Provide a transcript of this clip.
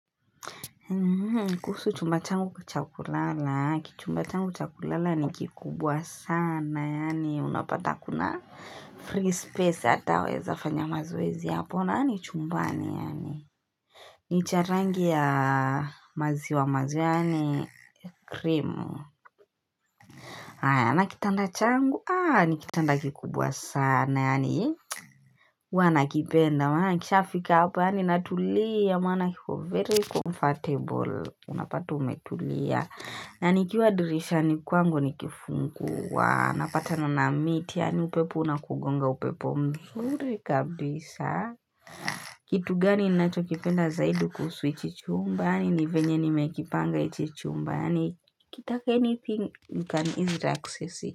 Kuhusu chumba changu cha kulala, chumba changu cha kulala ni kikubwa sana, yaani unapata kuna free space ataweza fanya mazoezi hapo chumbani, yaani ni cha rangi ya maziwa majani, cream Aya, na kitanda changu, aa ni kitanda kikubwa sana, yaani huwa nakipenda, maana nikishafika hapa, yaani natulia, maana kiko very comfortable unapata tu umetulia na nikiwa dirishani kwangu nikifungua napatana na miti upepo unakugonga upepo mzuri kabisa kitu gani ninacho kipenda zaidi kuhusu ichi chumba ni venye nimekipanga ichi chumba ukitaka anything you can easily access it.